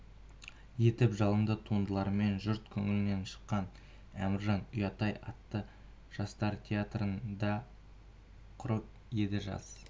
етіп жалынды туындыларымен жұрт көңілінен шыққан әміржан ұят-ай атты жастар театрын да құрып еді жас